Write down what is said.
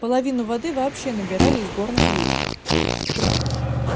половину воды вообще набирали из горных речек